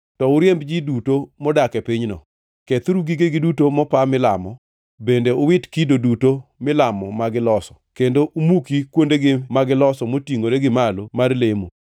to uriemb ji duto modak e pinyno. Kethuru gigegi duto mopa milamo bende uwit kido duto milamo ma giloso, kendo umuki kuondegi magiloso motingʼore gi malo mar lemo.